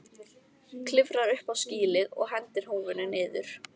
Klifrar upp á skýlið og hendir húfunni niður.